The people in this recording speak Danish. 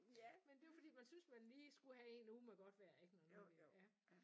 Ja men det er jo fordi man synes man lige skulle have en uge med godt vejr ikke når nu ja